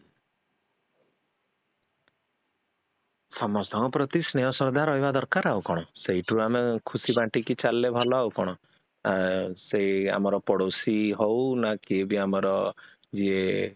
ସମସ୍ତଙ୍କ ପ୍ରତି ସ୍ନେହ ଶ୍ରଦ୍ଧା ରହିବା ଦରକାର ଆଉ କଣ ଆଉ ସେଇଠୁ ଆମେ ଖୁସି ବଣ୍ଟୀକି ଚାଲିଲେ ଭଲ ଆଉ କଣ ଅ ସେ ଆମ ପଡୋଶୀ ହଉ ନା କିଏବି ଆମର ଯିଏ